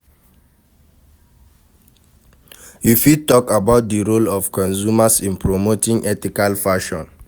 You fit talk about di role of consumers in promoting ethical fashon.